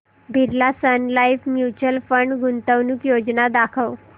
Birla sun life mutual fund गुंतवणूक योजना दाखव